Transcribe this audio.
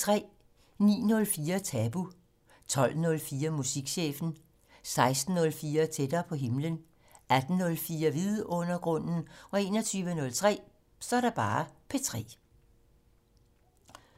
09:04: Tabu 12:04: Musikchefen 16:04: Tættere på himlen 18:04: Vidundergrunden 21:03: P3